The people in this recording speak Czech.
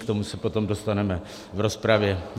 K tomu se potom dostaneme v rozpravě.